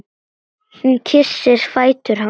Hún kyssir fætur hans.